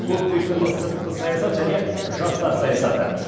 көпвекторлы сыртқы саясат және жастар саясаты